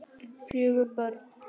Fjögur börn.